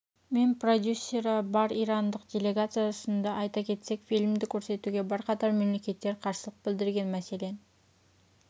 мен продюсері бар ирандық делегация ұсынды айта кетсек фильмді көрсетуге бірқатар мемлекеттер қарсылық білдірген мәселен